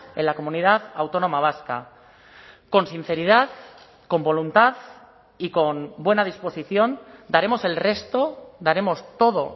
en la comunidad autónoma vasca con sinceridad con voluntad y con buena disposición daremos el resto daremos todo